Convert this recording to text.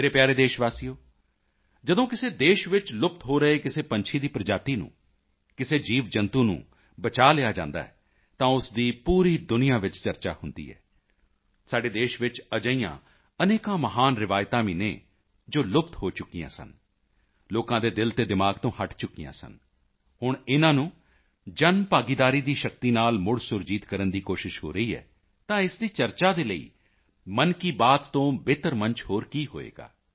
ਮੇਰੇ ਪਿਆਰੇ ਦੇਸ਼ਵਾਸੀਓ ਜਦੋਂ ਕਿਸੇ ਦੇਸ਼ ਵਿੱਚ ਲੁਪਤ ਹੋ ਰਹੇ ਕਿਸੇ ਪੰਛੀ ਦੀ ਪ੍ਰਜਾਤੀ ਨੂੰ ਕਿਸੇ ਜੀਵਜੰਤੂ ਨੂੰ ਬਚਾਅ ਲਿਆ ਜਾਂਦਾ ਹੈ ਤਾਂ ਉਸ ਦੀ ਪੂਰੀ ਦੁਨੀਆਂ ਵਿੱਚ ਚਰਚਾ ਹੁੰਦੀ ਹੈ ਸਾਡੀ ਦੇਸ਼ ਵਿੱਚ ਅਜਿਹੀਆਂ ਅਨੇਕਾਂ ਮਹਾਨ ਰਵਾਇਤਾਂ ਵੀ ਹਨ ਜੋ ਲੁਪਤ ਹੋ ਚੁੱਕੀਆਂ ਸਨ ਲੋਕਾਂ ਦੇ ਦਿਲ ਅਤੇ ਦਿਮਾਗ ਤੋਂ ਹਟ ਚੁਕੀਆਂ ਸਨ ਹੁਣ ਇਨ੍ਹਾਂ ਨੂੰ ਜਨਭਾਗੀਦਾਰੀ ਦੀ ਸ਼ਕਤੀ ਨਾਲ ਮੁੜ ਸੁਰਜੀਤ ਕਰਨ ਦੀ ਕੋਸ਼ਿਸ਼ ਹੋ ਰਹੀ ਹੈ ਤਾਂ ਇਸ ਦੀ ਚਰਚਾ ਦੇ ਲਈ ਮਨ ਕੀ ਬਾਤ ਤੋਂ ਬਿਹਤਰ ਮੰਚ ਹੋਰ ਕੀ ਹੋਵੇਗਾ